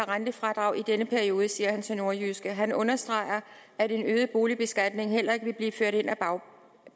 rentefradrag i denne periode det sagde han til nordjyske han understregede at en øget boligbeskatning heller ikke vil blive ført ind ad